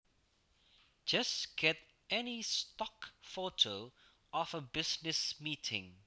Just get any stock photo of a business meeting